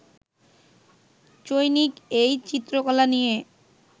চৈনিক এই চিত্রকলা নিয়ে